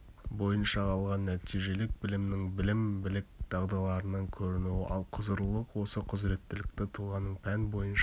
бойынша алған нәтижелік білімнің білім білік дағдыларынан көрінуі ал құзырлылық осы құзыреттілікті тұлғаның пән бойынша